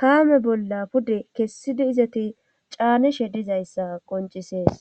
kaame bolla pude kessidi izati caanishe dizayssa qoncisees